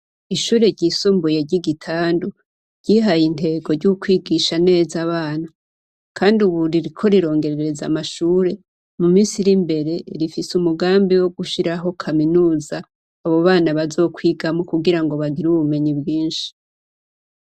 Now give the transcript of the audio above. Ishure ryisumbuye ry'Igitandu ryihaye intego ry'ukwigisha neza abana kandi ubu ririko rirongerereza amashure muminsi iri imbere rifise umugambi wogushiraho kaminuza abo bana bazokwigamwo kugirango bagire ubumenyi bwinshi.